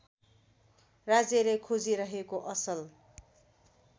राज्यले खोजिरहेको असल